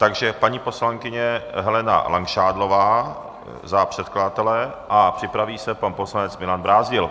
Takže paní poslankyně Helena Langšádlová za předkladatele a připraví se pan poslanec Milan Brázdil.